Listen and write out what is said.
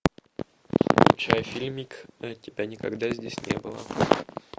включай фильмик тебя никогда здесь не было